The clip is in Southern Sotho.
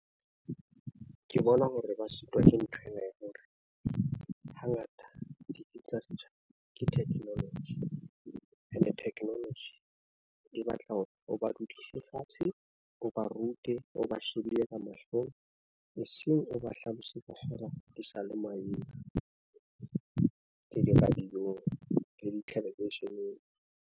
Ke bona hore ba sitwa ke nthwena ya hore ha ngata di tla ke technology ene technology. E batla hore o ba dudise fatshe, o ba rute, o ba shebile ka mahlong eseng o ba hlalosetsa fela di sa le maemo le di radio-ng le di-television.